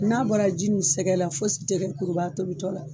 N'a bɔra ji ni sɛgɛ la fosi tɛ kɛ kuruba tobi tɔ la.